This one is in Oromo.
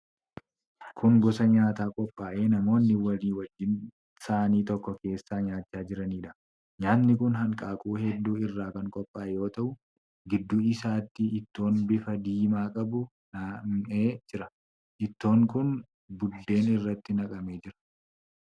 Kun gosa nyaataa qophaa'ee namoonni walii wajjin saanii tokko keessaa nyaachaa jiraniidha. Nyaatni kun hanqaaquu hedduu irraa kan qophaa'e yoo ta'u, gidduu isaatti ittoon bifa diimaa qabu nam'ee jira. Ittoon kun buddeen irratti naqamee jira.